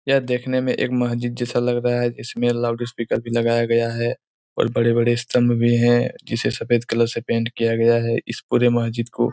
यह देखने में एक मस्जिद जैसा लग रहा है इसमें लाउडस्पीकर भी लगाया गया है और बड़े-बड़े स्तंभ भी हैं जिसे सफ़ेद कलर से पेंट किया गया है इस पूरे मस्जिद को।